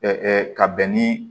ka bɛn ni